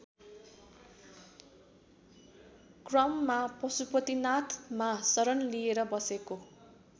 क्रममा पशुपतिनाथमा शरण लिएर बसेको